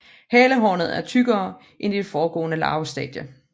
Halehornet er tykkere end i det foregående larvestadie